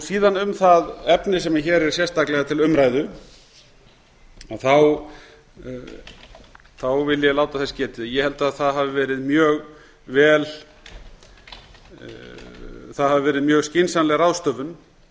síðan um það efni sem hér er sérstaklega til umræðu vil ég láta þess getið að ég held að það hafi verið mjög skynsamleg ráðstöfun